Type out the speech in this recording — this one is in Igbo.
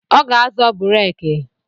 Ọ ga-azọ bureke